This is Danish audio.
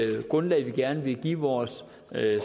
det grundlag vi gerne vil give vores